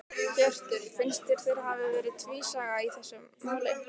Hjörtur: Finnst þér þeir hafi verið tvísaga í þessu máli?